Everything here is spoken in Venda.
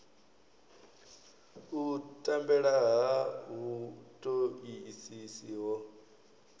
u tambela ha vhutoisisi ho